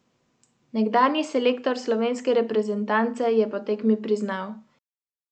Takšne banke torej, ki niso sposobne preživeti brez nenehnih finančnih injekcij?